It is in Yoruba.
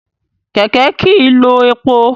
Kẹ̀kẹ́ kìí lo epo.